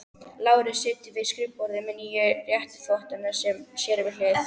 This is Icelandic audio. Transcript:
Lárus situr við skrifborðið með nýju réttarvottana sér við hlið.